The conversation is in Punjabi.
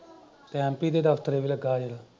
ਤੇ ਐੱਮ ਪੀ ਦੇ ਦਫ਼ਤਰ ਚ ਲੱਗਾ ਜੇ।